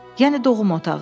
Yəni doğum otağı.